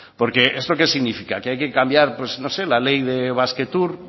porque esto que significa que hay que cambiar pues no sé la ley de basquetour